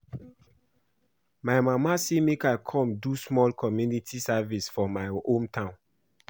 My mama say make I come do small community service for my hometown